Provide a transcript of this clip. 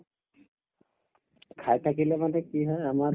খাই থাকিলে মানে কি হয় আমাৰ